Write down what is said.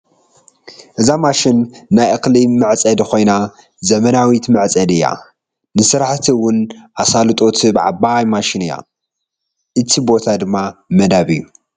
እዛ ማሽን ናይ እክሊ ምዕፀዲ ኮይና ዝምናዊት ምዕፀዲ እያ ንስራሕቲ እዉን ኣሳልጦ ትህብ ዓባይ ማሽን እያ እቲ ቦታ ድማ መዳ እዩ።